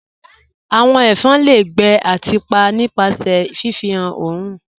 "Awọn ẹfọn le gbẹ̀ ati pa nipasẹ̀ ifihan ọ̀orun